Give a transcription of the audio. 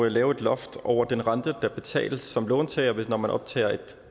lave et loft over den rente der betales som låntager når man optager et